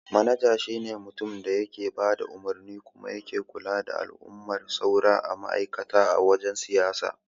Manaja shi ne mutumin da yake bada umarni kuma yake kula da al'amuran sauran ma'aikata a wajen siyayya.